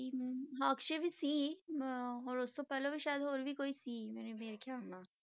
ਹਮ ਹਾਂ ਅਕਸ਼ੇ ਵੀ ਸੀ ਅਮ ਹੋਰ ਉਸ ਤੋਂ ਪਹਿਲੋਂ ਵੀ ਸ਼ਾਇਦ ਹੋਰ ਕੋਈ ਸੀ ਮੇਰੇ ਮੇਰੇ ਖਿਆਲ ਨਾਲ,